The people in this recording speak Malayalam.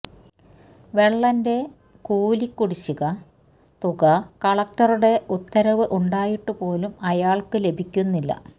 വെള്ളന്റെ കൂലി കുടിശ്ശിക തുക കളക്ടറുടെ ഉത്തരവ് ഉണ്ടായിട്ടുപോലും അയാള്ക്ക് ലഭിക്കുന്നില്ല